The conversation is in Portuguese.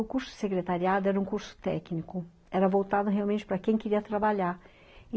O curso secretariado era um curso técnico, era voltado realmente para quem queria trabalhar.